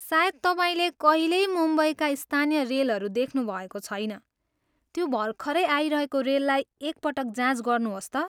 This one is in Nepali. सायद तपाईँले कहिल्यै मुम्बईका स्थानीय रेलहरू देख्नुभएको छैन, त्यो भर्खरै आइरहेको रेललाई एक पटक जाँच गर्नुहोस् त।